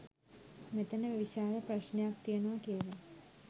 මෙතන විශාල ප්‍රශ්නයක් තියෙනවා කියලා.